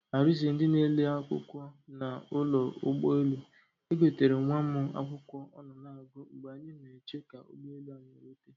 Arize ndị na ele akwụkwọ na ụlọ ụgbọ elu, egoterem nwa mụ akwụkwọ ọ nọ na agụ mgbe anyị na eche ka ụgbọ elu anyị rute